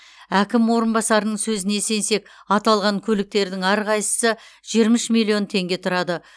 әкім орынбасарының сөзіне сенсек аталған көліктердің әрқайсысы жиырма үш миллион теңге тұрады